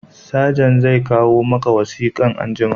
Sajent zai kawo maka wasikan anjima